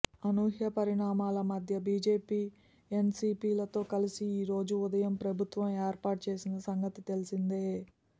అనూహ్యపరిణామాల మధ్య BJP NCP తో కలిసి ఈరోజు ఉదయం ప్రభుత్వం ఏర్పాటు చేసిన సంగతి తెలిసిందే